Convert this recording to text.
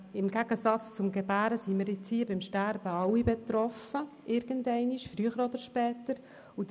Im Gegensatz zum Gebären sind wir vom Sterben alle früher oder später betroffen.